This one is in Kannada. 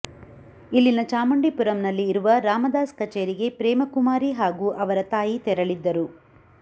ಇಲ್ಲಿನ ಚಾಮುಂಡಿಪುರಂನಲ್ಲಿ ಇರುವ ರಾಮದಾಸ್ ಕಚೇರಿಗೆ ಪ್ರೇಮಕುಮಾರಿ ಹಾಗೂ ಅವರ ತಾಯಿ ತೆರಳಿದ್ದರು